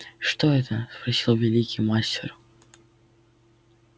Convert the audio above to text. что это спросил великий мастер